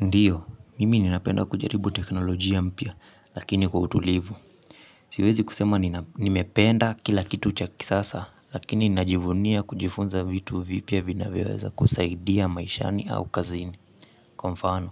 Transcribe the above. Ndiyo, mimi ninapenda kujaribu teknolojia mpya lakini kwa utulivu. Siwezi kusema nimependa kila kitu cha kisasa lakini ninajivunia kujifunza vitu vipya vinavyoweza kusaidia maishani au kazini. Kwa mfano,